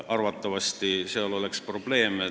Arvatavasti sellega tekiks probleeme.